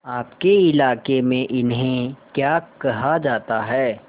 आपके इलाके में इन्हें क्या कहा जाता है